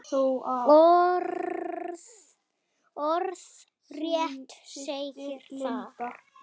Orðrétt segir þar